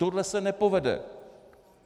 Tohle se nepovede.